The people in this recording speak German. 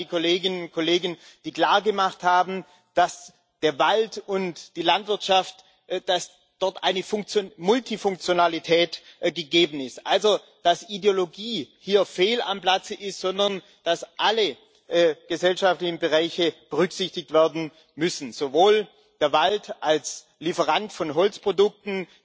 Ich danke auch den Kolleginnen und Kollegen, die klargemacht haben, dass in Wald und Landwirtschaft eine Multifunktionalität gegeben ist, also dass Ideologie hier fehl am Platze ist, sondern dass alle gesellschaftlichen Bereiche berücksichtigt werden müssen Sowohl der Wald als Lieferant von Holzprodukten,